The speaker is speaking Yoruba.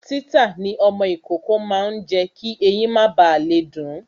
Títà ní ọmọ ìkókó máa ń jé kí ẹyin má ba le dun